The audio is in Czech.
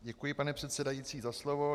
Děkuji, pane předsedající, za slovo.